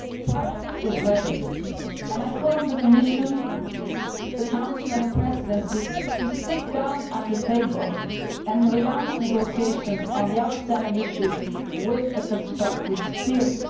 Parliament is ready, and I call on the Commission, the Council and the Presidency to sit down at the table and relaunch negotiations on the outstanding issues in a constructive spirit.